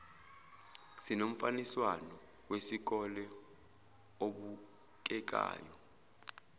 sinomfaniswano wesikole obukekayo